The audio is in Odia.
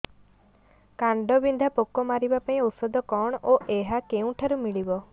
କାଣ୍ଡବିନ୍ଧା ପୋକ ମାରିବା ପାଇଁ ଔଷଧ କଣ ଓ ଏହା କେଉଁଠାରୁ ମିଳିବ